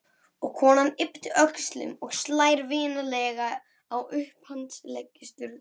Og konan ypptir öxlum og slær vinalega á upphandlegg Sturlu.